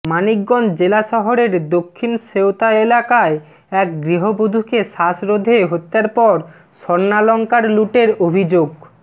মানিকগঞ্জ জেলা শহরের দক্ষিণ সেওতা এলাকায় এক গৃহবধূকে শ্বাসরোধে হত্যার পর স্বর্ণালংকার লুটের অভিযো